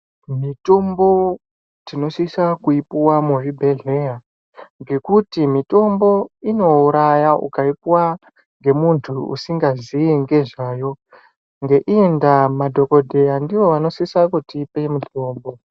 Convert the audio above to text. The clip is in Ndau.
Mitombo tinosisa kuipuwa muzvibhehlera ngekuti mitombo inouraya ukaipuwa ngemunhu usingaziyi ngezvayo ngeiyi ndaa madhokodheya ndiwo vanosisa kutipa mutombo.